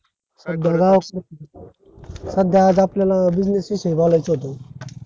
सध्या गावकडे सध्या आज आपल्याला business विषयी बोलायच होत हो